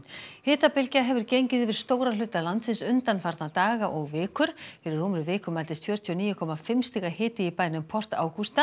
hitabylgja hefur gengið yfir stóra hluta landsins undanfarna daga og vikur fyrir rúmri viku mældist fjörutíu og níu komma fimm stiga hiti í bænum port